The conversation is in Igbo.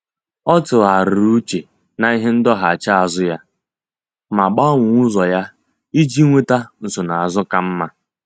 Ọ́ tụ́ghàrị̀rị̀ úchè n’íhé ndọghachi azụ ya ma gbanwee ụ́zọ́ ya iji nwéta nsonaazụ ka mma.